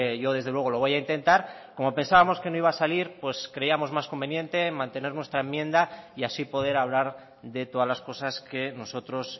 yo desde luego lo voy a intentar como pensábamos que no iba a salir pues creíamos más conveniente mantener nuestra enmienda y así poder hablar de todas las cosas que nosotros